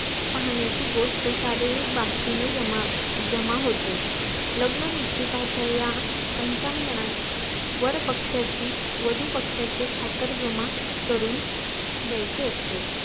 पाहण्याची गोष्ट शारीरिक बाबतीत जमा जमा होते लग्न निश्चिताचा या पंचांगणात वर पक्ष्याची वधू पक्ष्याचे खातर जमा करून द्यायची असते